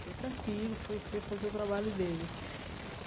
Foi tranquilo, foi foi fazer o trabalho dele.